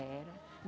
Era.